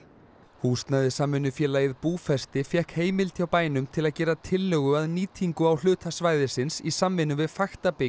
húsnæðissamvinnufélagið Búfesti fékk heimild hjá bænum til að gera tillögu að nýtingu á hluta svæðisins í samvinnu við fakta bygg